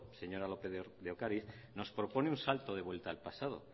señora lópez de ocariz nos propone un salto de vuelta al pasado